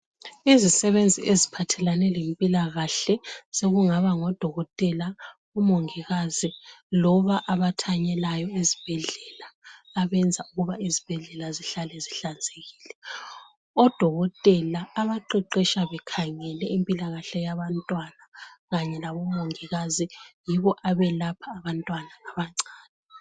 izisebenzi eziphathelane le mpilakahle sokungaba ngo dokotela o mongikazi loba abathanyelayo ezibhedlela abenza ukuba izibhedlela zihlale zihlanzekile odokotela abaqeqetsha bekhangele impilakahle yabantwana kanye labo mongikazi yibo abelapha abantwana abancane